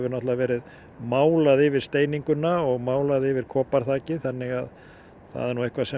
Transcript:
verið málað yfir steininguna og málað yfir þannig að það er nú eitthvað sem